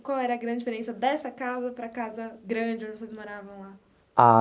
Qual era a grande diferença dessa casa para a casa grande onde vocês moravam lá? Ah.